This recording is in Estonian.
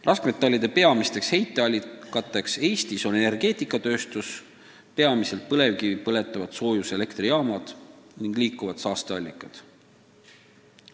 Raskmetallide heite peamised allikad Eestis on energeetikatööstus, põhiliselt põlevkivi põletavad soojuselektrijaamad, ning liikuvad saasteallikad.